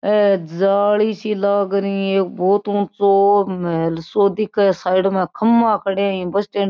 ए जाली सी लाग री है बोहोत ऊँचो महल सो दिखे साइड में खम्बा खड़े है बस स्टैंड --